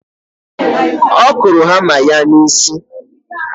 Ọ kụrụ ya hama n'isi.